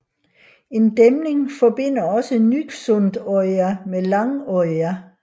En dæmning forbinder også Nyksundøya med Langøya